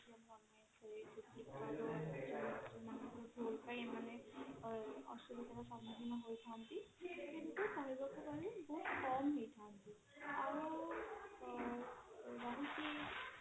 ଭୁଲ ପାଇଁ ଏମାନେ ଅସୁବିଧା ର ସମୁଖୀନ ହେଇଥାନ୍ତି କିନ୍ତୁ କହିବାକୁ ଗଲେ ବହୁତ କମ ହେଇଥାନ୍ତି ଆଉ ଅ ରହୁଛି